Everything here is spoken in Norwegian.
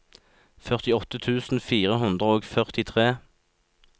førtiåtte tusen fire hundre og førtitre